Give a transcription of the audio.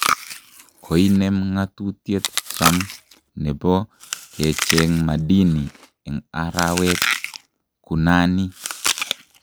Koinem ng'atutiet Trump ne bo kecheng madini eng arawet; kunani?